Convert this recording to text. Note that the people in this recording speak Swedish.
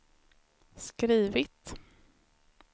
skrivit